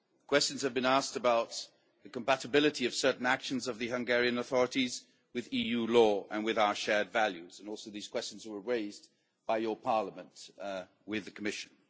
Questions have been asked about the compatibility of certain actions of the Hungarian authorities with EU law and with our shared values, and also these questions were raised by this Parliament with the Commission.